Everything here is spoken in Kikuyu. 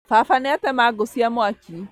Baba nĩatema ngũ cia mwaki